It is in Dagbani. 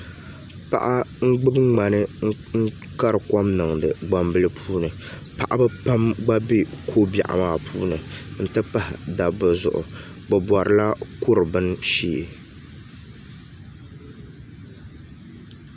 Paɣa n gbubi ŋmani n kari kom niŋdi gbambili puuni paɣaba pam gba bɛ ko biɛɣu maa puuni n ti pahi dabba zuɣu bi borila kuri bini shee